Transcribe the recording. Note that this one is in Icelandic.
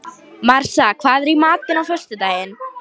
Marsa, hvað er í matinn á föstudaginn?